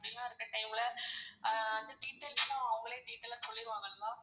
அப்படிலாம் இருக்குற time ல ஆஹ் வந்து details லாம் அவங்களே detail ஆ சொல்லிருவாங்கல ma'am?